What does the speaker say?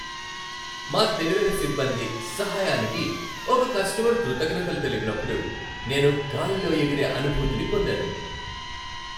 మా తెలివైన సిబ్బంది సహాయానికి ఒక కస్టమర్ కృతజ్ఞతలు తెలిపినప్పుడు నేను గాలిలో ఎగిరే అనుభూతిని పొందాను.